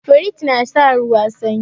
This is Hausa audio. Firiji na sa ruwa sanyi